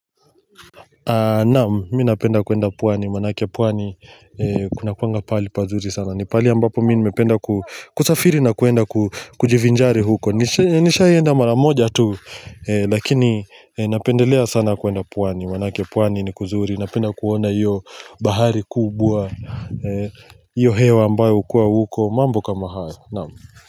Naam, minapenda kwenda pwani, maanake pwani kuna kuanga pahali pazuri sana ni pahali ambapo mimi nimependa kusafiri na kuenda kujivinjari huko Nishaienda maramoja tu, lakini napendelea sana kwenda pwani, maanake pwani ni kuzuri Napenda kuona iyo bahari kubwa, iyo hewa ambayo hukuwa huko, mambo kama haya, naam.